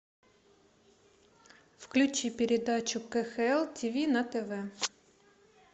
включи передачу кхл тиви на тв